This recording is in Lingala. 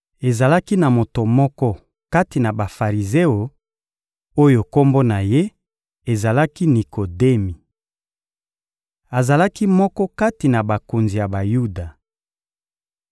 Ezalaki na moto moko kati na Bafarizeo, oyo kombo na ye ezalaki «Nikodemi.» Azalaki moko kati na bakonzi ya Bayuda.